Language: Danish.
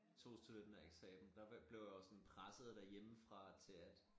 Tog studentereksamen der blev jeg jo sådan presset derhjemmefra til at